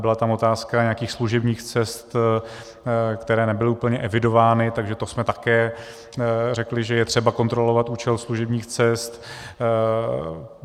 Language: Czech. Byla tam otázka nějakých služebních cest, které nebyly úplně evidovány, takže to jsme také řekli, že je třeba kontrolovat účel služebních cest.